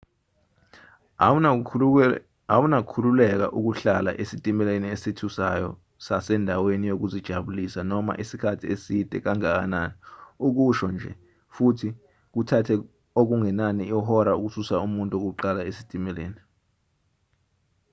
awuna kukhululeka ukuhlala esitimeleni esithusayo sasendaweni yokuzijabulisa noma isikhathi eside kangakanani ukusho nje futhi kuthathe okungenani ihora ukususa umuntu wokuqala esitimeleni.